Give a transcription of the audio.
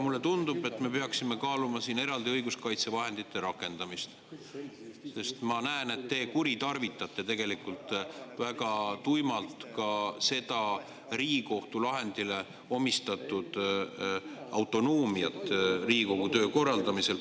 Mulle tundub, et me peaksime kaaluma siin eraldi õiguskaitsevahendite rakendamist, sest ma näen, et te kuritarvitate tegelikult väga tuimalt ka seda Riigikohtu lahendile omistatud autonoomiat Riigikogu töö korraldamisel.